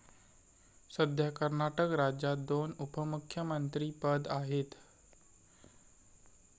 सद्या कर्नाटक राज्यात दोन उपमुख्यमंत्रीपद आहेत.